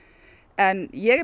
en ég er